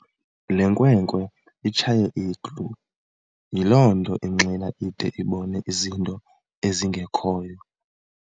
Le nkwenkwe itshaye iglu yile nto inxila ide ibone izinto ezingekhoyo.